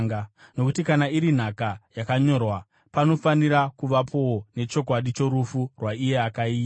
Nokuti kana iri nhaka yakanyorwa, panofanira kuvapowo nechokwadi chorufu rwaiye akaiita,